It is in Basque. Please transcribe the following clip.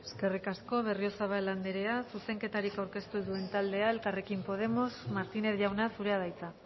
eskerrik asko berriozabal andrea zuzenketarik aurkeztu ez duen taldearen txanda elkarrekin podemos martínez jauna zurea da hitza